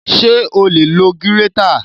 Ṣé o lè lo gírétà?